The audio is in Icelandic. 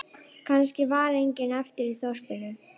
Kannski var enginn eftir í þorpinu.